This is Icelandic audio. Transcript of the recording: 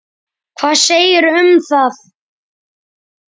Hvað segirðu um það?